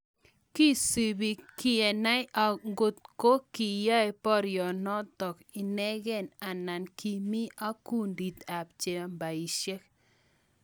Kisupe kenai ngoto kiai poroionotok inegei anan ki mi ko gundit ab chambasyek.